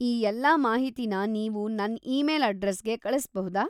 ಈ ಎಲ್ಲಾ ಮಾಹಿತಿನ ನೀವು ನನ್ ಈಮೇಲ್‌ ಅಡ್ರೆಸ್‌ಗೆ ಕಳಿಸ್ಬಹುದಾ?